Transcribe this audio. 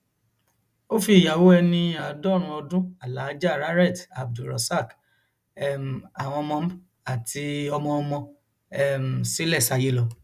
ó fi ìyàwó ẹni àádọrùnún ọdún alaaja rarret abdulrosaq um àwọn ọmọ àti ọmọọmọ um sílẹ sáyé lọ